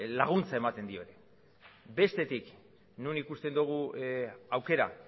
laguntza ematen dio ere bestetik non ikusten dugu aukera